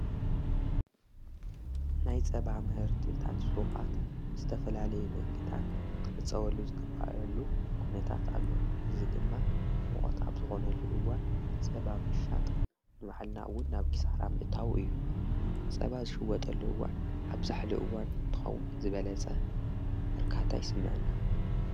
ናይ ጸብ ምህርትታት ሽቓት ብዝተፈላለይ መንገድታት ክዕፀወሉ ዝግባእ ኲነታት ኣሎ። እዚ ድማ ሙቐት ኣብዝኾነሉ እዋን ፀባ ምሻጥ ንባዕልና እውን ናብ ኪሳራ ምእታዊ እዩ። ጸባ ዝሽወጠሉ እዋን ኣብ ዛሕሊ እዋን እንትኸውን ዝበለጸ እርካታ ይስመዓና።